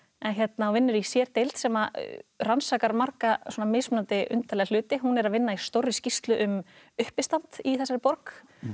vinnur í sérdeild sem rannsakar marga mismunandi undarlega hluti hún er að vinna í stórri skýrslu um uppistand í þessari borg